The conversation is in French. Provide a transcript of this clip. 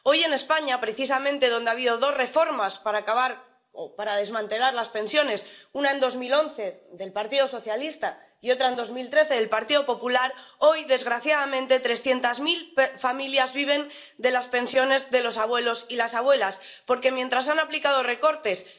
Madame la Présidente, dans cette Europe, Bruxelles décide et les États s'exécutent. En France, la réforme des retraites, soi disant voulue par Macron mais en fait sur injonction de Bruxelles, n'échappe pas à la règle.